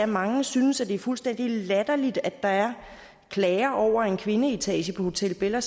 mange synes at det er fuldstændig latterligt at der er klager over en kvindeetage på hotel bella